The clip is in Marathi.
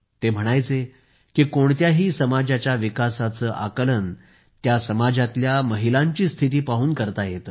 ते म्हणायचे की कोणत्याही समाजाच्या विकासाचे आकलन त्या समाजातल्या महिलांची स्थिती पाहून करता येते